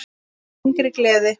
Innri gleði.